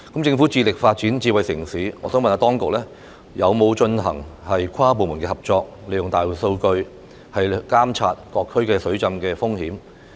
政府致力發展智慧城市，我想問當局有否進行跨部門合作，利用大數據監察各區水浸風險？